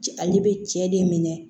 Ale bɛ cɛ de minɛ